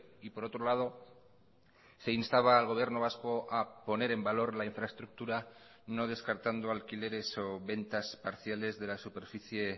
y por otro lado se instaba al gobierno vasco a poner en valor la infraestructura no descartando alquileres o ventas parciales de la superficie